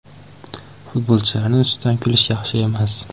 Futbolchilarni ustidan kulish yaxshi emas.